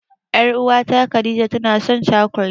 Ƴar'uwata Khadija tanasan cakulet.